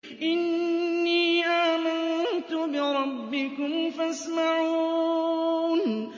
إِنِّي آمَنتُ بِرَبِّكُمْ فَاسْمَعُونِ